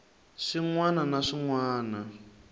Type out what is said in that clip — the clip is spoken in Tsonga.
swin wana na swin wana